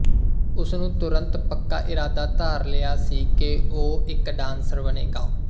ਉਸਨੂੰ ਤੁਰੰਤ ਪੱਕਾ ਇਰਾਦਾ ਧਾਰ ਲਿਆ ਸੀ ਕਿ ਉਹ ਇੱਕ ਡਾਂਸਰ ਬਣੇਗਾ